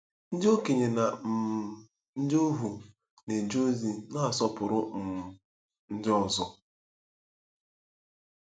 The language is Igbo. Ndị okenye na um ndị ohu na-eje ozi na-asọpụrụ um ndị ọzọ.